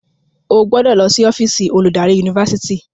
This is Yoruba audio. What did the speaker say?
o gbọdọ ló sì ọ́fíìsì oludari Yunifásitìni.